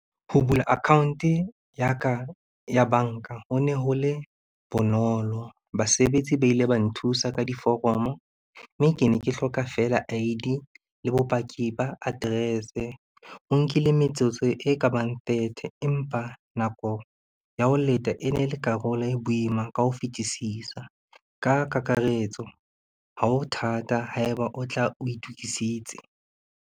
Ho bula account-e ya ka ya banka, ho ne ho le bonolo. Basebetsi ba ile ba nthusa ka diforomo, mme ke ne ke hloka fela I_D le bopaki ba address-e. O nkile metsotso e ka bang thirty empa nako ya ho leta e ne le karolo e boima ka ho fetisisa. Ka kakaretso hao thata haeba o tla o itokisitse.